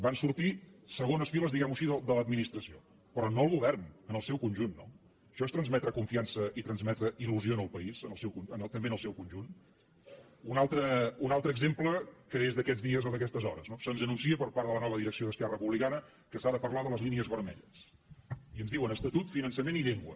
van sortir segons files diguem ho així de l’administració però no el govern en el seu conjunt no això és transmetre confiança i transmetre il·lusió al país també en el seu conjunt un altre exemple que és d’aquests dies o d’aquestes hores no se’ns anuncia per part de la nova direcció d’esquerra republicana que s’ha de parlar de les línies vermelles i ens diuen estatut finançament i llengua